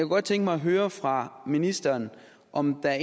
godt tænke mig at høre fra ministeren om der